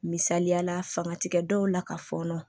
Misaliyala fanga ti kɛ dɔw la ka fɔɔnɔ